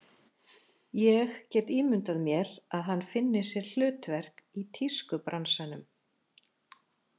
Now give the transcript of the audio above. Ég get ímyndað mér að hann finni sér hlutverk í tískubransanum.